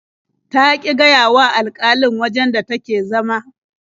Ta ƙi gaya wa alƙalin wajen da take zama.